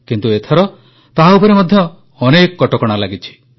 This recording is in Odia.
କିନ୍ତୁ ଏଥର ତାହା ଉପରେ ମଧ୍ୟ ଅନେକ କଟକଣା ଲାଗିଛି